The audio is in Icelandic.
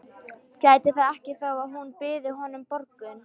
Gæti það ekki þó að hún byði honum borgun.